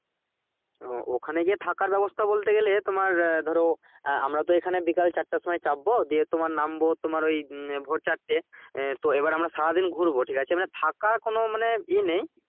আহ ওখানে গিয়ে থাকার ব্যবস্থা বলতে গেলে তোমার আহ ধরো আহ আমরা তো এখানে বিকেল চারটের সময় চাপবো দিয়ে নামবো তোমার ওই উম ভোর চারটে তো এবার আমরা সারাদিন ঘুরবো ঠিক আছে মানে থাকা কোনো মানে ইয়ে নেই